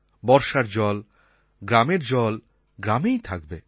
বর্ষার জল গ্রামের জল গ্রামেই থাকবে